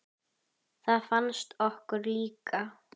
Það fannst okkur líka.